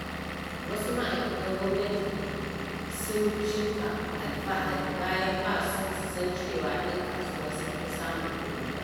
Wasu ma'aikatan gwamanti sun cika alfahari, bayan ba su san cewa 'yan kasuwa sun fi samun kuɗi ba.